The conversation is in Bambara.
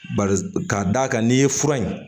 Ba k'a d'a kan n'i ye fura in